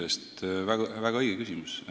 Aitäh, see on väga õige küsimus!